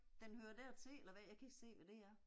Den hører dertil eller hvad, jeg kan ikke se hvad det er